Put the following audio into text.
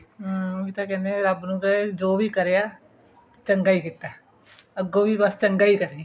ਹਮ ਉਹੀ ਤਾਂ ਕਹਿੰਦੇ ਆਂ ਰੱਬ ਨੂੰ ਅਮ ਜੋ ਕਰਿਆ ਚੰਗਾ ਕੀਤਾ ਅੱਗੋਂ ਵੀ ਬੱਸ ਚੰਗਾ ਹੀ ਕਰੀਂ